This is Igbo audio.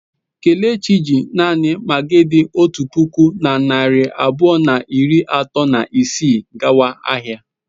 Kelechi ji naanị magị dị otu puku na narị abụọ na iri atọ na isii gawa ahịa.